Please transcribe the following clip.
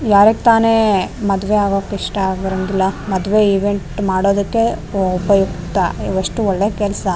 ಯಾರಗ್ ತಾನೆ ಮದುವೆ ಆಗಕ್ಕ್ ಇಷ್ಟ ಆಗಿರಂಗಿಲ್ಲ ಮದುವೆ ಈವಾಗ್ ಮಾಡೋದಕ್ಕೆ ಎಷ್ಟು ಒಳ್ಳೆ ಕೆಲ್ಸ.